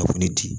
Kafo ni di